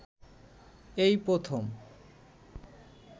এই প্রথম